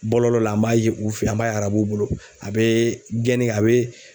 Bɔlɔlɔ la an b'a ye u fe an b'a ye arabuw bolo a be gɛnni kɛ a be